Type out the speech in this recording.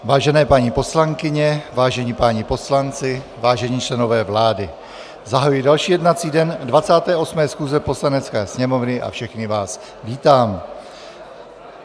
Vážené paní poslankyně, vážení páni poslanci, vážení členové vlády, zahajuji další jednací den 28. schůze Poslanecké sněmovny a všechny vás vítám.